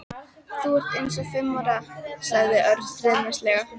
Þú ert eins og fimm ára sagði Örn stríðnislega.